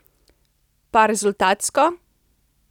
Pa rezultatsko?